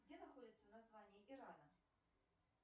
где находится название ирана